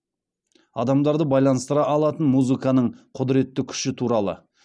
адамдарды байланыстыра алатын музыканың құдыретті күші туралы